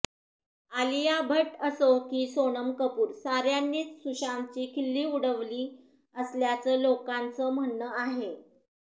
आलिया भट्ट असो की सोनम कपूर साऱ्यांनीच सुशांतची खिल्ली उडवली असल्याचं लोकांचं म्हणणं आहे